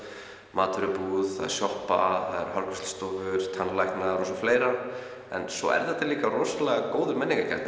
matvörubúð sjoppa hárgreiðslustofur tannlæknar og fleira en svo er þetta líka rosalega góður